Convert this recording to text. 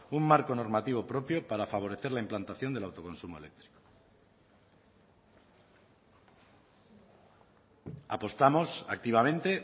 un marco normativo propio para favorecer la implantación del autoconsumo eléctrico apostamos activamente